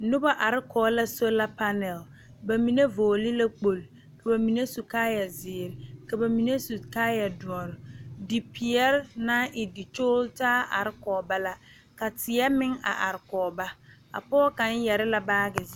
Noba are kɔge la sola panɛɛ ba mine vɔgke la kpɔge ka ba mine su kaayɛ zeere ka ba mine su kaayɛ dɔre dipeɛle naŋ e dikyogle taa are kɔge ba la ka tie meŋ a are kɔge ba a pɔge kaŋ yɛrɛ la baagi zeɛ